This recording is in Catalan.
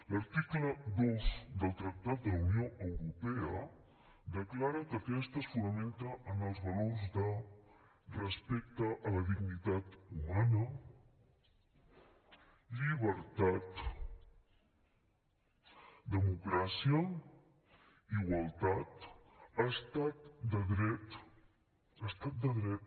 l’article dos del tractat de la unió europea declara que aquesta es fonamenta en els valors de respecte a la dignitat humana llibertat democràcia igualtat estat de dret estat de dret